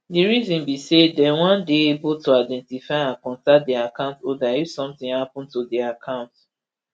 di reason be say dem wan dey able to identify and contact di account holder if somtin happun to di account